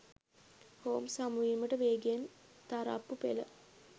Holmes හමුවීමට වේගයෙන් තරප්පු පෙළ